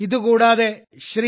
ഇത് കൂടാതെ ശ്രീ